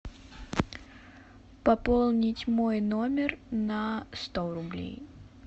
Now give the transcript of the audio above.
пополнить мой номер на сто рублей